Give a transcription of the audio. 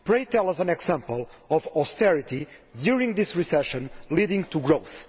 Pray tell us an example of austerity during this recession leading to growth.